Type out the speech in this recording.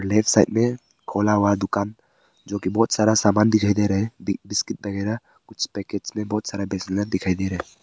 Left side में खोला हुआ दुकान जो की बहोत सारा सामान दिखाई दे रहा है बिस्किट वगैरा कुछ पैकेट्स में बहुत सारा दिखाई दे रहा।